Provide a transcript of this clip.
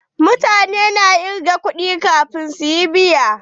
Mutane na kirga kuɗi kafin su yi biya.